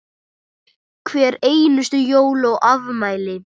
Hver einustu jól og afmæli.